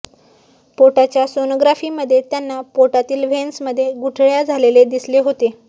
पोटाच्या सोनोग्राफीमध्ये त्यांना पोटातील व्हेन्समध्ये गुठळ्या झालेले दिसले होते